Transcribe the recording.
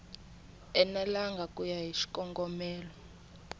enelangi ku ya hi xikongomelo